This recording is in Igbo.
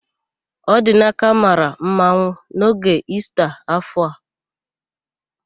Ọdinaka mara mmanwụ n'oge Ista áfọ̀ a.